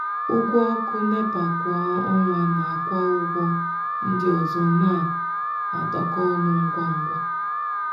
ụgwọ ọkụ nepa kwa ọnwa nakwa ụgwọ ndị ọzọ na-adakọ ọnụ ngwa ngwa.